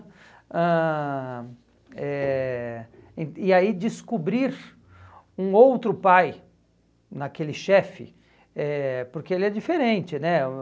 ãh eh en E aí descobrir um outro pai naquele chefe, eh porque ele é diferente né.